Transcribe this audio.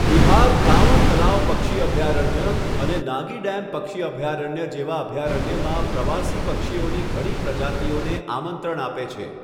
બિહાર કાંવર તળાવ પક્ષી અભયારણ્ય અને નાગી ડેમ પક્ષી અભયારણ્ય જેવા અભયારણ્યમાં પ્રવાસી પક્ષીઓની ઘણી પ્રજાતિઓને આમંત્રણ આપે છે.